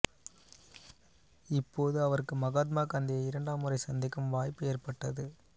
இப்போது அவருக்கு மகாத்மா காந்தியை இரண்டாம் முறை சந்திக்கும் வாய்ப்பு ஏற்பட்டது